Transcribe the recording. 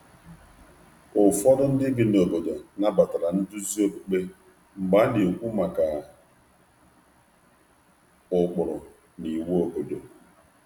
Ụfọdụ ndị bi n’ebe ahụ nabatara nduzi okpukperechi n’oge arụmụka banyere ụkpụrụ na iwu ógbè.